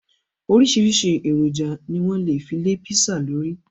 Oríṣìíríṣìí èròjà ni wọ́n lè fi lé písà lórí.